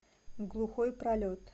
глухой пролет